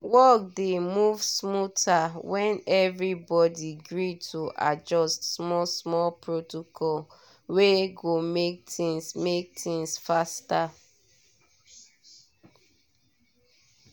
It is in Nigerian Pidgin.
work dey move smoother when everybody gree to adjust small-small protocol wey go make things make things faster.